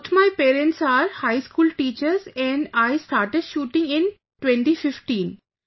Both my parents are high school teachers and I started shooting in 2015